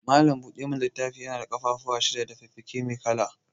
Malam buɗa mana littafi yana da ƙafafuwan shida da fikafiki mai kala.